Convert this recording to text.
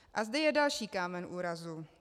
A zde je další kámen úrazu.